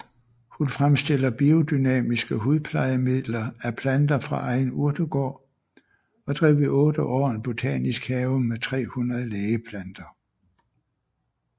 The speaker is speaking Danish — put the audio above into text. Hun fremstiller biodynamiske hudplejemidler af planter fra egen urtegård og drev i 8 år en botanisk have med 300 lægeplanter